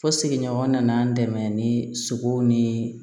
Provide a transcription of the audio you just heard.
Fo sigiɲɔgɔn nana n dɛmɛ ni sogow ni